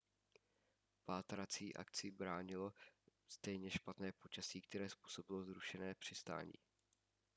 pátrácí akci bránilo stejně špatné počasí které způsobilo zrušené přistání